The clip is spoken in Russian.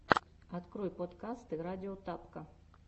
открой подкасты радио тапка